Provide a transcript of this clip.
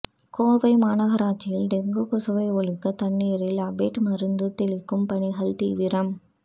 கோவை மாநகராட்சியில் டெங்கு கொசுவை ஒழிக்க தண்ணீரில் அபேட் மருந்து தெளிக்கும் பணிகள் தீவிரம்